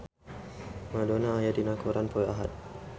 Madonna aya dina koran poe Ahad